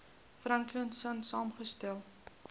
franklin sonn saamgestel